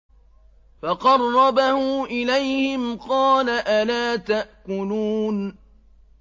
فَقَرَّبَهُ إِلَيْهِمْ قَالَ أَلَا تَأْكُلُونَ